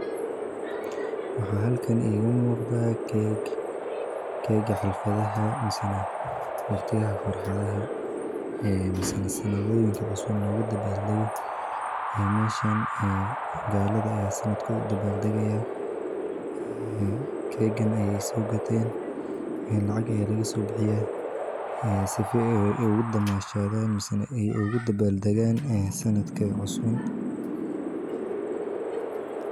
Maxa halkan iga mugda cake. cake ka xalfadhaha, misina waqti aha farxadaha ah ee misina sannadooyinka cusub loogu dabaal dogu meeshaan ee gaallada ayaa sanadkood dabaal degaya ka eegan ayay soo gatiin lacag ayay laga soo baxiya sifo ugu damashada misina iyo ugu dabaal degan sannadkii cusub.